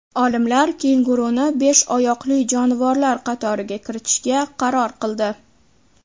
Olimlar kenguruni besh oyoqli jonivorlar qatoriga kiritishga qaror qildi.